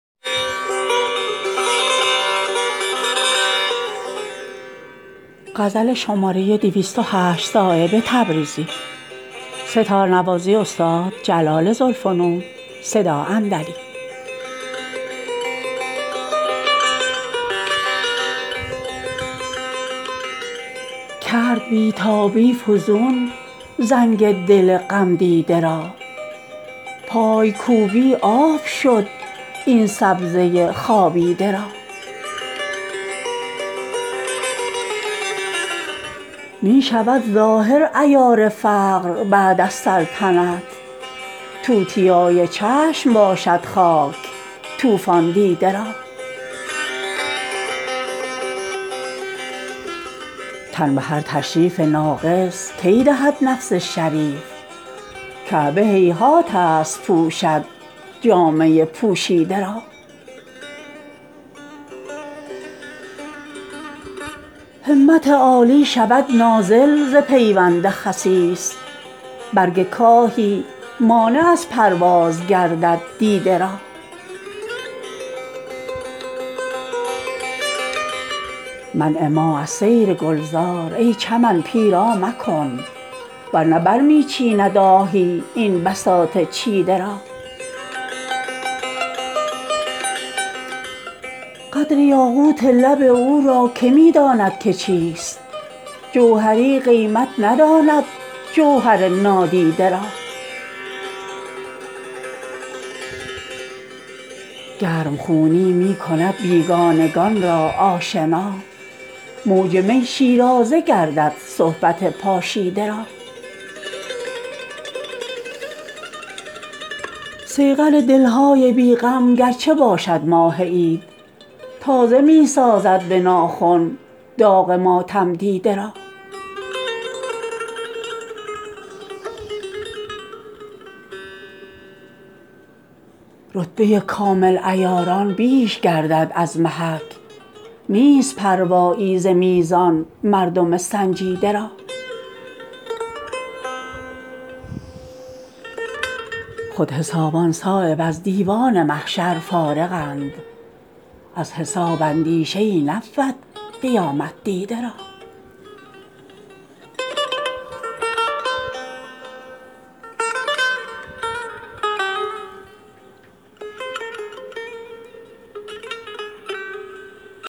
کرد بی تابی فزون زنگ دل غم دیده را پایکوبی آب شد این سبزه خوابیده را می شود ظاهر عیار فقر بعد از سلطنت توتیای چشم باشد خاک طوفان دیده را تن به هر تشریف ناقص کی دهد نفس شریف کعبه هیهات است پوشد جامه پوشیده را همت عالی شود نازل ز پیوند خسیس برگ کاهی مانع از پرواز گردد دیده را منع ما از سیر گلزار ای چمن پیرا مکن ور نه برمی چیند آهی این بساط چیده را قدر یاقوت لب او را که می داند که چیست جوهری قیمت نداند جوهر نادیده را گرمخونی می کند بیگانگان را آشنا موج می شیرازه گردد صحبت پاشیده را صیقل دل های بی غم گرچه باشد ماه عید تازه می سازد به ناخن داغ ماتم دیده را رتبه کامل عیاران بیش گردد از محک نیست پروایی ز میزان مردم سنجیده را خود حسابان صایب از دیوان محشر فارغند از حساب اندیشه ای نبود قیامت دیده را